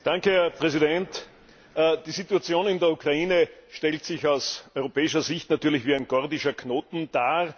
Herr Präsident! Die Situation in der Ukraine stellt sich aus europäischer Sicht natürlich wie ein gordischer Knoten dar.